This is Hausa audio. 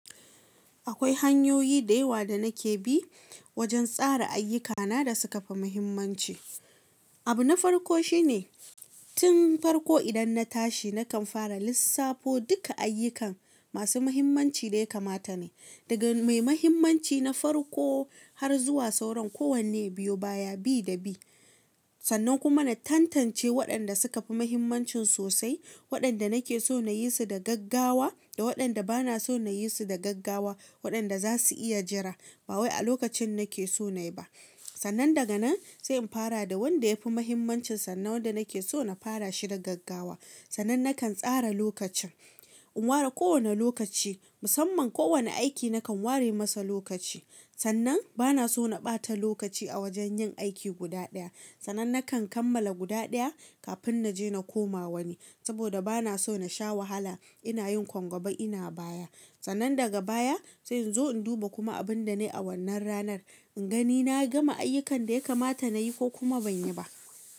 Akwai hanyoyi da yawa da nake bi wajen tsara ayyukana da suka fi muhimmanci. Abu na farko shine, tun farko idan na tashi nakan fara lissafo duka ayyukan masu muhimmanci da ya kamata ne, daga mai muhimmanci na farko har zuwa sauran kowane biyu baya bi da bi. Sannan kuma na tantance waɗanda suka fi muhimmancin sosai, waɗanda nake so na yi su da gaggawa da waɗanda ba na so na yi su da gaggawa, waɗanda za su iya jira. Ba wai a lokacin nake so na yi ba. Sannan daga nan sai in fara da wanda ya fi muhimmanci sannan wanda nake so na fara shi da gaggawa. Sannan nakan tsara lokacin, in ware kowane lokaci, musamman kowane aiki nakan ware masa lokaci. Sannan ba na so na ɓata lokaci a wajen yin aiki guda ɗaya. Sannan nakan kammala guda ɗaya kafin na je na koma wani. Saboda ba na so na sha wahala ina yin ko gaba ina baya. Sannan daga baya sai in zo in duba kuma abin da na yi a wannan ranar, in gani na gama ayyukan da ya kamata na yi ko kuma ban yi ba.